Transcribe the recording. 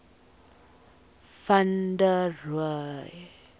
van der rohe